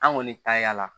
An kɔni taa la